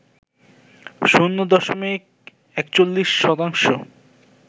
শূন্য দশমিক ৪১ শতাংশ